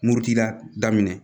Murutila daminɛ